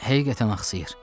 Həqiqətən axsayır.